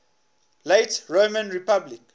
late roman republic